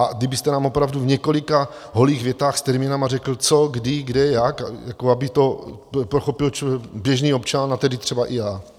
A kdybyste nám opravdu v několika holých větách s termíny řekl co, kdy, kde, jak, aby to pochopil běžný občan, a tedy třeba i já.